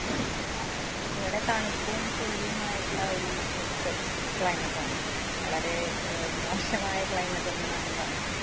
ഇവിടെ തണുപ്പും, ചൂടുമായിട്ടുള്ള ഒരു mixed climate ആണ്. വളരെ അഹ് മോശമായ climate എന്ന് വേണേ പറയാം.